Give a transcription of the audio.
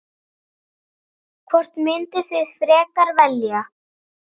Hvort mynduð þið frekar velja?